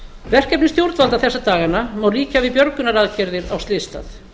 verkefni stjórnvalda þessa dagana má líkja við björgunaraðgerðir á slysstað